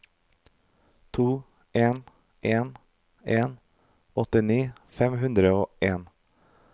to en en en åttini fem hundre og en